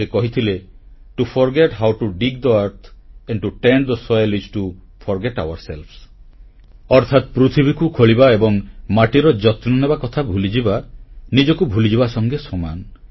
ସେ କହିଥିଲେ to forget how to dig the earth and to tend the soil is to forget ourselves ଅର୍ଥାତ ପୃଥିବୀକୁ ଖୋଳିବା ଏବଂ ମାଟିର ଯତ୍ନ ନେବା କଥା ଭୁଲିଯିବା ନିଜକୁ ଭୁଲିଯିବା ସଙ୍ଗେ ସମାନ